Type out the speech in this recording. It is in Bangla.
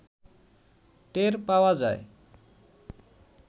টের পাওয়া যায়